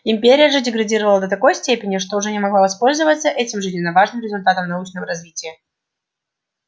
империя же деградировала до такой степени что уже не могла воспользоваться этим жизненно важным результатом научного развития